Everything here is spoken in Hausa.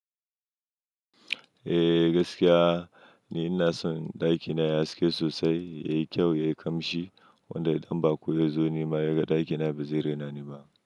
Eh gaskiya ne, ina son ɗakina ya haske sosai, yayi kyau, yayi ƙamshi, wanda idan ba ko ya zo ni ma ya ga ɗakina ba zai rena ni ba.